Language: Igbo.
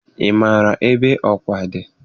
Ị maara ebe Ọka dị?